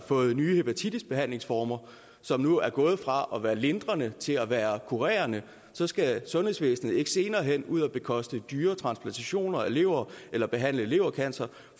fået nye hepatitisbehandlingsformer som nu er gået fra at være lindrende til at være kurerende så skal sundhedsvæsenet ikke senere hen ud og bekoste dyre transplantationer af levere eller behandle levercancer